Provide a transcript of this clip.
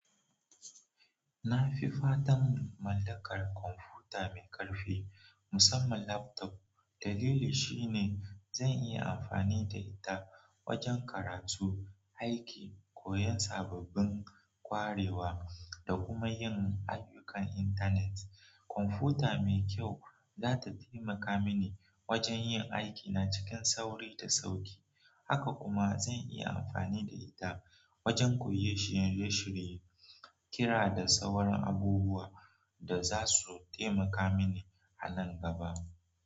Nafi fadan mallakar kwamfuta mai ƙarfi, musamman laptop. Dalili shine zan iya amfani da ita wajen karatu, aiki, koyon sababbin ƙwarewa da kuma yin ayyukan intanet. Kwamfuta mai kyau za ta taimaka mini wajen yin aikina cikin sauri da sauki. Haka kuma zan iya amfani da ita wajan koyon shirye-shirye, kira da sauran abubuwa da za su taimaka mini a nan gaba.